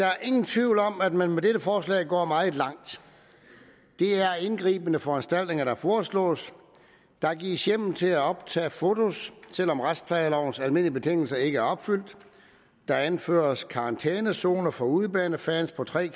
er nogen tvivl om at man med dette forslag går meget langt det er indgribende foranstaltninger der foreslås der gives hjemmel til at optage foto selv om retsplejelovens almindelige betingelser ikke er opfyldt der anføres karantænezoner for udebanefans på tre